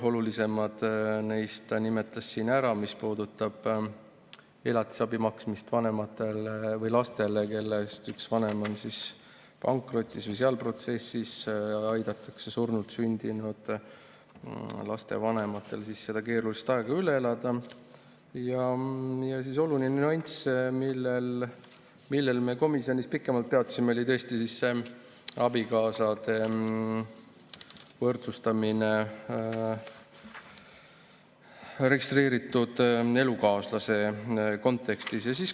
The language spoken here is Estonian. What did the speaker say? Olulisemad neist nimetas ta siin ära, mis puudutavad elatisabi maksmist lastele, kelle üks vanem on pankrotis või pankrotiprotsessis, aidatakse surnult sündinud laste vanematel seda keerulist aega üle elada, ja oluline nüanss, millel me komisjonis pikemalt peatusime, oli tõesti abikaasade võrdsustamine registreeritud elukaaslase kontekstis.